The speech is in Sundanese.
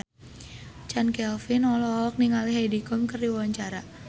Chand Kelvin olohok ningali Heidi Klum keur diwawancara